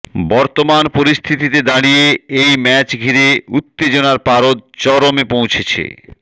বর্তমান পরিস্থিতিতে দাঁড়িয়ে এই ম্যাচ ঘিরে উত্তেজনার পারদ চরমে পৌঁছেছে